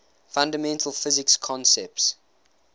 fundamental physics concepts